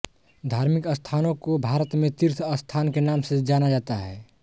धार्मिक स्थानों को भारत में तीर्थ स्थान के नाम से जाना जाता है